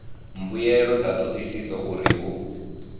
mbuelo dza thodisiso uri hu